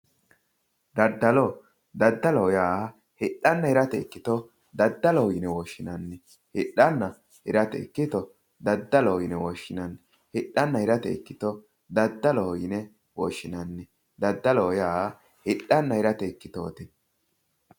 Daddalo daddaloho yaa hidhanna hirate ikkito daddaloho yine woshshinanni hidhanna hirate ikkito daddaloho yine woshshinanni. Hidhanna hirate ikkito daddaloho yine woshshinanni. Daddaloho yaa hidhanna hirate ikkitooti.